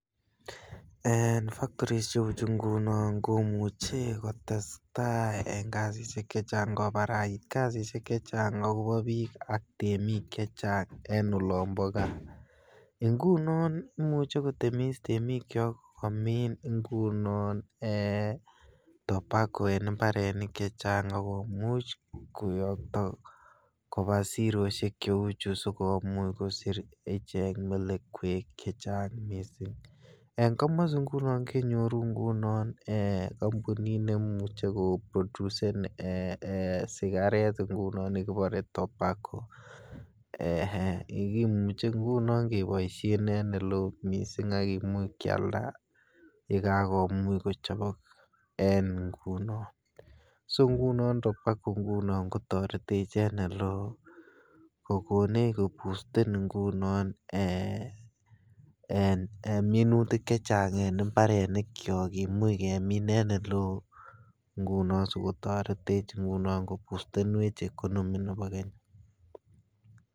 En factories che uu chu ngunon komuche kotestai en kazit chechang kobarait kazishek chechang akobo biik ak temik chechang en olombo gaa. Ngunon imuche kotemis temikyok komin ngunon ee tobacco en imbarenik chechang ak komuch koyokto kobaa seroshek che uu chu sikomuch kosich ichek melekwek chechang missing. En komosii ngunon kenyoru ngunon ee kompunit nemuche ko producen sigaret nekibore tobacco, ee nekimuche ngunon keboishen en ele oo missing ak kimuch kyalda ye kakimuch kochobok en ngunon, so ngunon tobacco ngunon ko toretech en ole oo kogonech koboosten ee en minutik chechang en imbarenikyok kimuch kemin en ele oo ngunon sikotoretech ngunon koboostenwech economy nebo kenya.